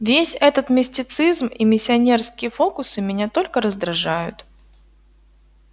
весь этот мистицизм и миссионерские фокусы меня только раздражают